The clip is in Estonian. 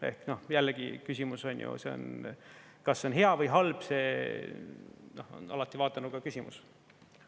Ehk, noh, jällegi küsimus onju, kas see on hea või halb, see on alati vaatenurga küsimus.